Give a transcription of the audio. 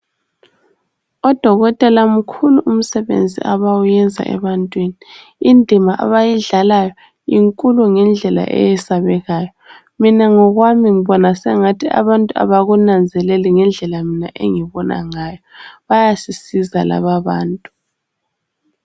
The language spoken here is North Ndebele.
Odokotela mkhulu umsebenzi abawuyenzayo ebantwini .Indima abayidlalayo inkulu ngendlela eyesabekayo. Mina ngokwami mbona sengathi abantu abakunanzeleli ngendlela mina engibona ngayo. Bayasisiza lababantu.